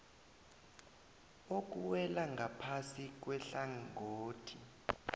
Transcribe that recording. okuwela ngaphasi kwehlangothi